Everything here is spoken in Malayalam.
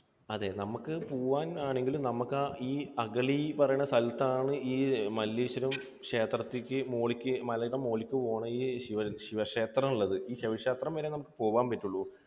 അതെ. നമുക്ക് പോകാൻ ആണെങ്കിലും നമുക്ക് ഈ അഗളി എന്ന് പറയുന്ന സ്ഥലത്താണ് ഈ മല്ലേശ്വരം ക്ഷേത്രത്തിലേക്ക്, മോളിലേക്ക് മലയുടെ മുകളിലേക്ക് പോകണ ഈ ശിവക്ഷേത്രം ഉള്ളത്. ഈ ശിവക്ഷേത്രം വരെ നമുക്ക് പോകാൻ പറ്റുകയുള്ളൂ.